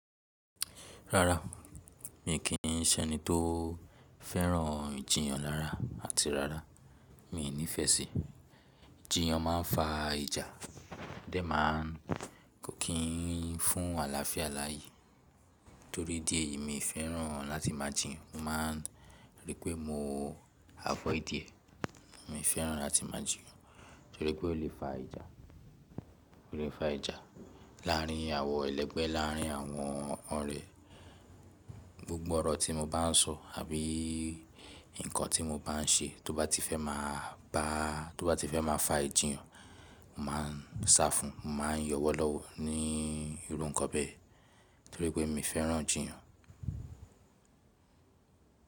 Rárá, mi kì í ṣe ẹni tó fẹ́ràn jìyàn rára àti rárá mi ò nífẹ̀ẹ́ sí i. Jìyàn ma ń fa ìjà o dẹ ma ń kò kí n fún àlàáfíà láàyè. Torí dí èyí mi fẹ́ràn láti máa jìyàn, mo ma ń rí pé mo avọ́ìdí ẹ̀. Mi fẹ́ràn láti máa jìyàn torí pé ó lè fa ìjà, ó lè fa ìjà láàrín àwọ elẹgbẹ́, láàrín àwọn ọ̀rẹ́. Gbgbo ọ̀rọ̀ tí mo bá n sọ àbí ǹkan tí mo bá n ṣe tó bá ti fẹ́ máa bá tó bá ti fẹ́ máa fa ìjìyàn, mo ma ń sá fún un, mo ma ń yọwọ́ lọ́wọ́ ní irú ǹkan bẹ́ẹ̀ torí pé mi fẹ́ràn jìyàn.